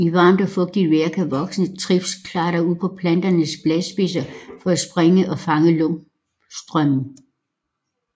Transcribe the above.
I varmt og fugtigt vejr kan voksne trips klatre ud på planternes bladspidser for at springe og fange luftstrømmen